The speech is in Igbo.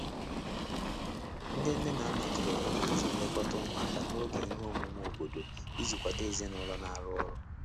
Ndị nne na nna tụlere nhazi nlekọta ụmụaka n'oge ihe emume obodo iji kwado ezinụlọ na arụ ọrụ.